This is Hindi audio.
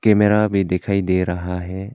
कैमेरा भी दिखाई दे रहा है।